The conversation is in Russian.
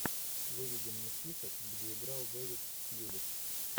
выведи мне список где играл дэвид тьюлис